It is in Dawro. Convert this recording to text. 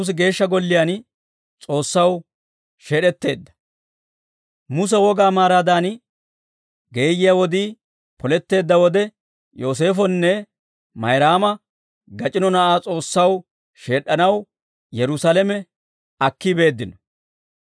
Muse wogaa maaraadan geeyyiyaa wodii poletteedda wode Yooseefonne Mayraama gac'ino na'aa S'oossaw sheed'd'anaw Yerusaalame akki beeddino.